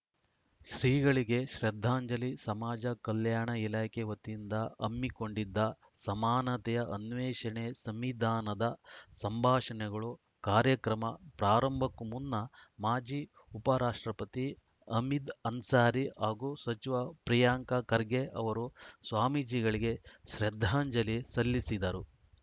ಶ್ರೀಗಳಿಗೆ ಶ್ರದ್ಧಾಂಜಲಿ ಸಮಾಜ ಕಲ್ಯಾಣ ಇಲಾಖೆ ವತಿಯಿಂದ ಹಮ್ಮಿಕೊಂಡಿದ್ದ ಸಮಾನತೆಯ ಅನ್ವೇಷಣೆ ಸಂವಿಧಾನದ ಸಂಭಾಷಣೆಗಳು ಕಾರ್ಯಕ್ರಮ ಪ್ರಾರಂಭಕ್ಕೂ ಮುನ್ನ ಮಾಜಿ ಉಪ ರಾಷ್ಟ್ರಪತಿ ಹಮೀದ್‌ ಅನ್ಸಾರಿ ಹಾಗೂ ಸಚಿವ ಪ್ರಿಯಾಂಕ್‌ ಖರ್ಗೆ ಅವರು ಸ್ವಾಮೀಜಿಗಳಿಗೆ ಶ್ರದ್ಧಾಂಜಲಿ ಸಲ್ಲಿಸಿದರು